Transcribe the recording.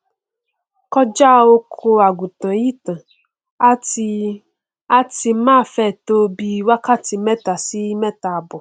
kọjá oko àgùntàn yìí tán á ti á ti máa fẹ tó bíi wákàtí mẹta sí mẹtaàbọ